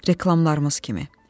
Reklamlarımız kimi.